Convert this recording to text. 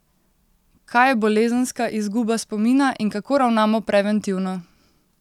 Kaj je bolezenska izguba spomina in kako ravnamo preventivno?